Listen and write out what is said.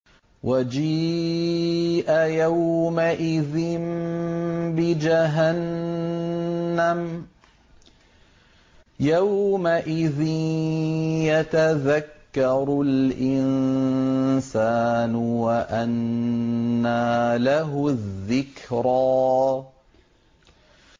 وَجِيءَ يَوْمَئِذٍ بِجَهَنَّمَ ۚ يَوْمَئِذٍ يَتَذَكَّرُ الْإِنسَانُ وَأَنَّىٰ لَهُ الذِّكْرَىٰ